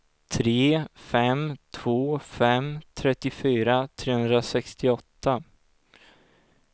tre fem två fem trettiofyra trehundrasextioåtta